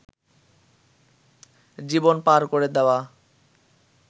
জীবন পার করে দেওয়া